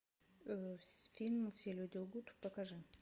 фильм все люди лгут покажи